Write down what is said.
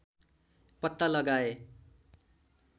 पत्ता लगाए